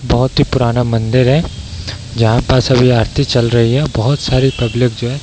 बहोत ही पुराना मंदिर है जहाँ पर सब ये आरती चल रही है बहोत सारी पब्लिक जो है |